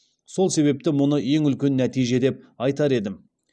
сол себепті мұны ең үлкен нәтиже деп айтар едім